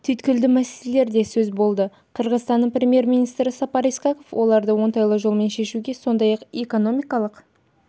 түйткілді мәселелер де сөз болды қырғызстанның премьер-министрі сапар исаков оларды оңтайлы жолмен шешуге сондай-ақ экономикалық